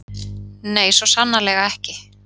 Nei, svo sannarlega ekki.